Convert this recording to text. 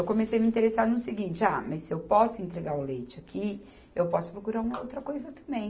Eu comecei a me interessar no seguinte, ah, mas se eu posso entregar o leite aqui, eu posso procurar uma outra coisa também.